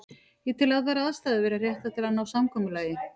Ég tel allar aðstæður vera réttar til að ná samkomulagi.